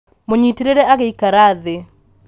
mũnyitĩrĩre agĩikara thĩ